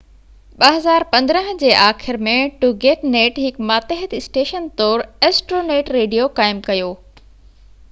2015 جي آخر ۾ ٽوگيٽنيٽ هڪ ماتحت اسٽيشن طور ايسٽرونيٽ ريڊيو قائم ڪيو